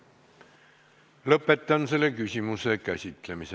Lõpetan selle küsimuse käsitlemise.